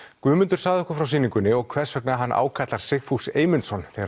Guðmundur sagði okkur frá sýningunni og hvers vegna hann ákallar Sigfús Eymundsson þegar